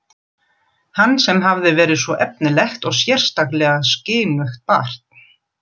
Hann sem hafði verið svo efnilegt og sérstaklega skynugt barn.